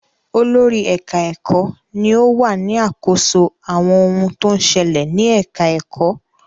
Olórí ẹ̀ka-ẹ̀kọ́ ni ó wà ní àkóso àwọn ohun tó ń ṣẹlẹ̀ ní ẹ̀ka-ẹ̀kọ́.